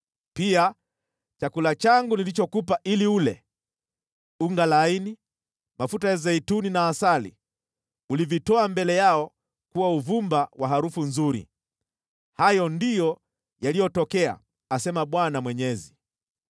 Pia chakula changu nilichokupa ili ule: unga laini, mafuta ya zeituni na asali, ulivitoa mbele yao kuwa uvumba wa harufu nzuri. Hayo ndiyo yaliyotokea, asema Bwana Mwenyezi.